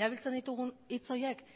erabiltzen ditugun hitz horiek